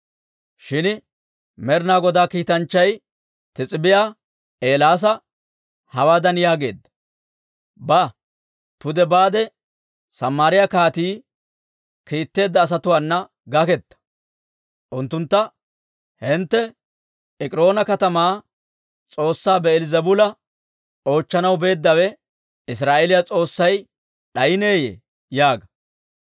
Shin Med'ina Godaa kiitanchchay Tisbbiyaa Eelaasa hawaadan yaageedda; «Ba; pude baade, Samaariyaa kaatii kiitteedda asatuwaana gaketta. Unttuntta, ‹Hintte Ek'iroona katamaa s'oossaa Bi'eeli-Zebuula oochchanaw beeddawe, Israa'eeliyan S'oossay d'ayineeyye?› yaaga.